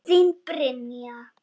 Þín, Brynja.